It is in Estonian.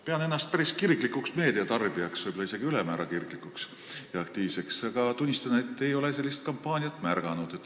Pean ennast päris kirglikuks meediatarbijaks, võib-olla isegi ülemäära kirglikuks ja aktiivseks, aga pean tunnistama, et ei ole sellist kampaaniat märganud.